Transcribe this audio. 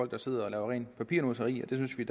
der sidder og laver rent papirnusseri og det synes vi